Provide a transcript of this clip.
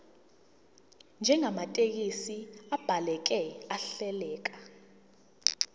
njengamathekisthi abhaleke ahleleka